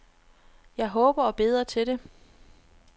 Jeg håber og beder til det.